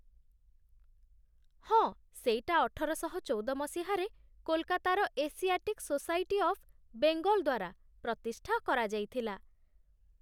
ହଁ, ସେଇଟା ଅଠରଶହଚଉଦ ମସିହାରେ କୋଲକାତାର ଏସିଆଟିକ୍ ସୋସାଇଟି ଅଫ୍ ବେଙ୍ଗଲ୍ ଦ୍ୱାରା ପ୍ରତିଷ୍ଠା କରାଯାଇଥିଲା ।